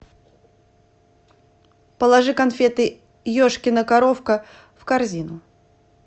положи конфеты ешкина коровка в корзину